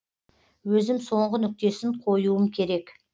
өзім соңғы нүктесін қоюым керек